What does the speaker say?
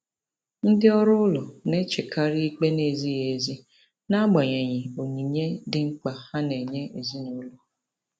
Ndị ọrụ ụlọ na-echekarị ikpe na-ezighị ezi n'agbanyeghị onyinye dị mkpa ha na-enye ezinụlọ.